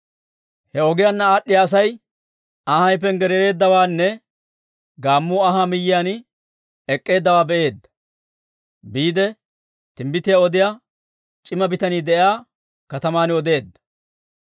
He ogiyaanna aad'd'iyaa Asay anhay panggaraareeddawaanne gaammuu anhaa miyiyaan ek'k'eeddawaa be'eedda; biide timbbitiyaa odiyaa c'ima bitanii de'iyaa kataman odeedda.